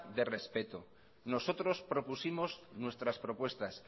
de respeto nosotros propusimos nuestras propuestas